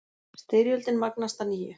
Styrjöldin magnast að nýju